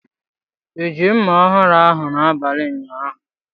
I ji mma ọhụrụ ahụ n'abalị ụnyaahụ?